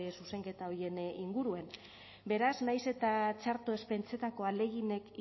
zuzenketa horien inguruen beraz nahiz eta txarto ez pentsetako ahaleginek